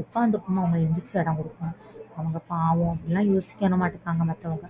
ஒக்காந்துருக்கும்போது அவங்களுக்கு எந்திரிச்சி இடம் கொடுக்கணும் பாவம் அப்பிடின்னு லாம் யோசிக்கவே மாற்றங்க மத்தவங்க